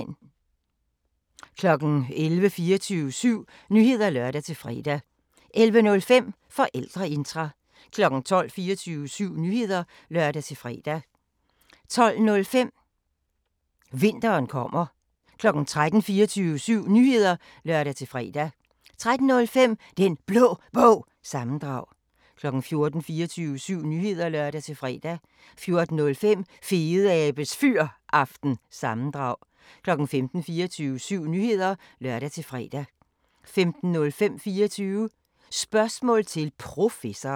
11:00: 24syv Nyheder (lør-fre) 11:05: Forældreintra 12:00: 24syv Nyheder (lør-fre) 12:05: Vinteren kommer 13:00: 24syv Nyheder (lør-fre) 13:05: Den Blå Bog – sammendrag 14:00: 24syv Nyheder (lør-fre) 14:05: Fedeabes Fyraften – sammendrag 15:00: 24syv Nyheder (lør-fre) 15:05: 24 Spørgsmål til Professoren